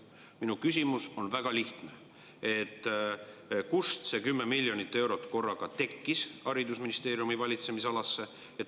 Minu küsimus on väga lihtne: kust see 10 miljonit eurot korraga haridusministeeriumi valitsemisalasse tekkis?